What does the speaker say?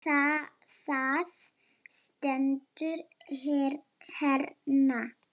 Það stendur hérna.